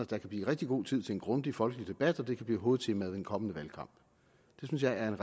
der kan blive rigtig god tid til en grundig folkelig debat og så det kan blive hovedtemaet i en kommende valgkamp det synes jeg er